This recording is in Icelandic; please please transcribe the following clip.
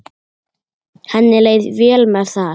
Henni leið vel með það.